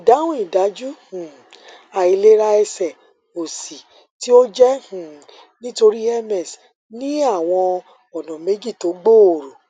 ìdáhùn ìdájú um àìlera ẹsè òsì tí ó jẹ um nítorí ms ní àwọn ònà méjì tó gbòòrò